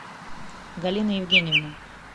галина евгеньевна